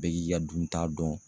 Bɛɛ k'i ka dunta dɔn